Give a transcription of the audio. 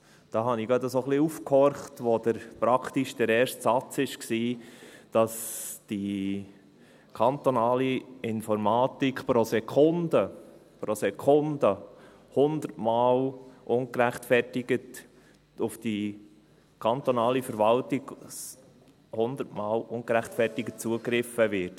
Und da horchte ich gerade ein bisschen auf, als praktisch der erste Satz war, dass auf die kantonale Informatik pro Sekunde 100 Mal ungerechtfertigt zugegriffen wird.